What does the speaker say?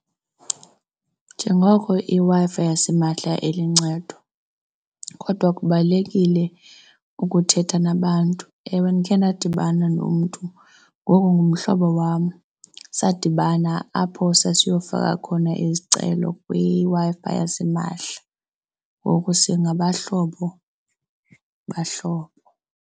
Njengoko iWi-Fi yasimahla iluncedo kodwa kubalulekile ukuthetha nabantu. Ewe, ndikhe ndadibana nomntu ngoku ngumhlobo wam. Sadibana apho sasiyofika khona izicelo kwiWi-Fi yasimahla ngoku singabahlobo bahlobo.